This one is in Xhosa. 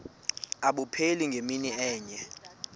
abupheli ngemini enye